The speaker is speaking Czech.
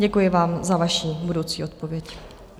Děkuji vám za vaši budoucí odpověď.